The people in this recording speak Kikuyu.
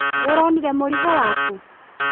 Nĩũronire mũrigo waku?